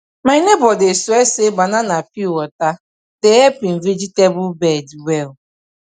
my neighbor dey swear say banana peel water dey help him vegetable bed well